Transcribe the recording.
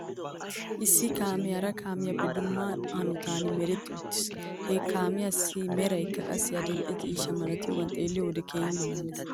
Issi kaamee hara kaamiyaappe dumma hanotan meretti uttis. He kaamiyaassi meraykka qassi adil'e ciishsha malatiyaagaa xeelliyoo wode keehi malaales .